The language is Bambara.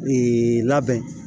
Ee labɛn